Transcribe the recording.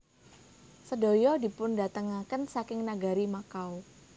Sedaya dipundhatengaken saking nagari Makao